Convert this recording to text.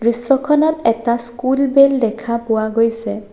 দৃশ্যখনত এটা school bell দেখা পোৱা গৈছে।